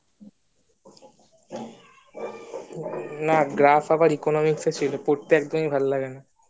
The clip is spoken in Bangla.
না graph আবার economics এ ছিলো করতে একদমই ভালো লাগত না